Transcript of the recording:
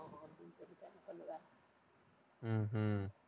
உம் உம்